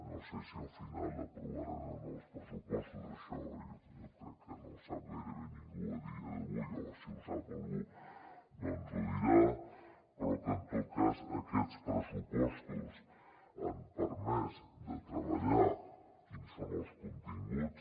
no sé si al final aprovaran o no els pressupostos això jo crec que no ho sap gairebé ningú a dia d’avui o si ho sap algú no ens ho dirà però que en tot cas aquests pressupostos han permès de treballar quins són els continguts